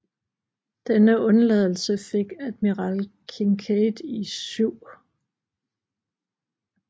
Denne undladelse fik admiral Kinkaid i 7